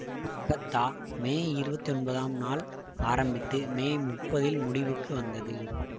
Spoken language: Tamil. அகத்தா மே இருபத்தி ஒன்பதாம் நாள் ஆரம்பித்து மே முப்பதில் முடிவுக்கு வந்தது